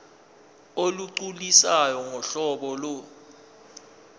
olugculisayo ngohlobo lo